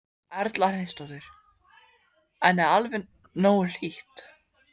Erla Hlynsdóttir: En er alveg nógu hlýtt?